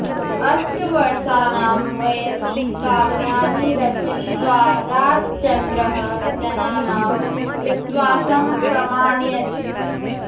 अष्टवर्षाणां वयसि काव्यानि रचयित्वा राजचन्द्रः जनानां विश्वासं प्रामाणयत्